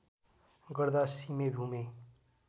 गर्दा सिमे भूमे